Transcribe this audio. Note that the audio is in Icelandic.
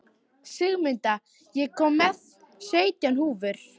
Sigmunda, ég kom með sautján húfur!